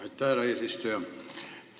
Aitäh, härra eesistuja!